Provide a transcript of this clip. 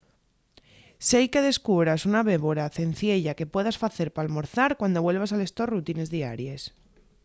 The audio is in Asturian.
seique descubras una bébora cenciella que puedas facer p’almorzar cuando vuelvas a les tos rutines diaries